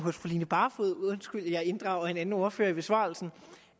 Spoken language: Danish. hos fru line barfod undskyld at jeg inddrager en anden ordfører i besvarelsen